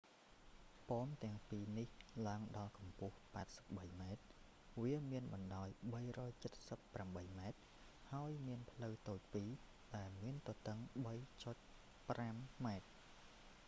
ប៉មទាំងពីរ នេះឡើងដល់កម្ពស់ 83 ម៉ែត្រ វាមានបណ្តោយ 378 ម៉ែត្រហើយមានផ្លូវតូចពីរ ដែលមានទទឹង 3.50 ម៉ែត្រ